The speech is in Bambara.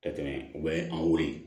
Ka tɛmɛ u bɛ an weele